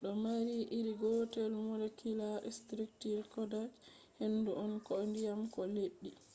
do mari iri gotel molecular structure koda je hendu on koh diyam ko leddi